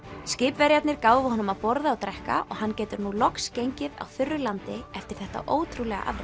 skipverjarnir gáfu honum að borða og drekka og hann getur nú loks gengið á þurru landi eftir þetta ótrúlega afrek